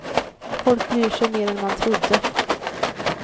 Folk bryr sig mer än man trodde.